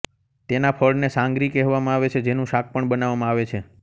તેના ફળને સાંગરી કહેવામાં આવે છે જેનું શાક પણ બનાવવામાં આવે છે